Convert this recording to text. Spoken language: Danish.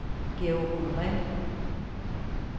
Georg Honore